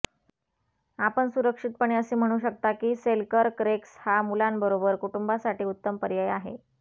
आपण सुरक्षितपणे असे म्हणू शकता की सेलकर्क रेक्स हा मुलांबरोबर कुटुंबासाठी उत्तम पर्याय आहे